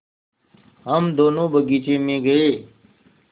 हम दोनो बगीचे मे गये